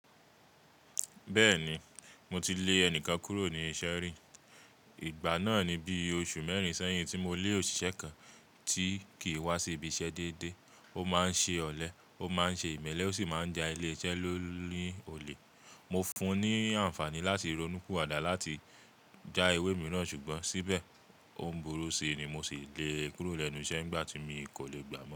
Bẹ́ẹ̀ni, mo ti lè ẹnìkan kúrò ní iṣẹ́ rí. Igba náà ni bí oṣù mẹ́rin sẹ́yìn tí mo lé òṣìṣẹ́ kan tí kì í wá sí ibi iṣẹ́ déédéé. Ó máa ń ṣe ọ̀lẹ, ó máa ń ṣe ìmẹ́lẹ́ ó sì máa ń ja ilé-iṣẹ́ ló ní olè. Mo fún un ní àǹfààní láti ronú piwadá láti já ewé mìíràn ṣùgbọ́n síbẹ̀ ó ń burú sí i ni mo sì lé e kúrò lẹ́nu iṣẹ́ nígbà tí mi kò lè gbà á mọ́.